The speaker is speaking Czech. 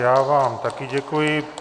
Já vám také děkuji.